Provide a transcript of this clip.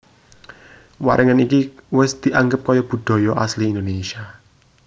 Waringin iki wis dianggep kaya budaya asli Indonesia